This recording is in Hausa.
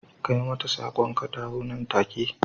kai mata sak'on ka dawo nan take.